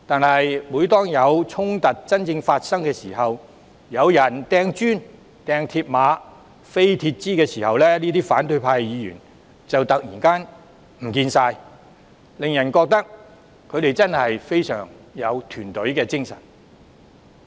然而，每當發生真正衝突，有人擲磚頭、鐵馬、鐵枝時，反對派議員就會突然不見蹤影，令人覺得他們真的非常有團隊精神。